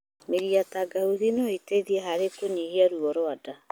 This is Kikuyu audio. Mĩri ya tangauthi no ĩteithie hari kũnyihia ruo rwa nda.